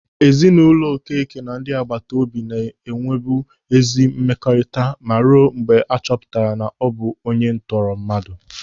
Ezinụlọ Okeke na ndị agbataobi na-enwebu ezi mmekọrịta ma ruo mgbe a chọpụtara na ọ bụ onye ntọrọmmadụ.